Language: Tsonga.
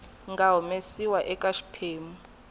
nga humesiwa eka xiphemu xa